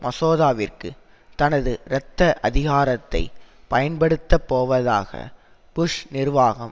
மசோதாவிற்கு தனது இரத்த அதிகாரத்தை பயன்படுத்தப்போவதாக புஷ் நிர்வாகம்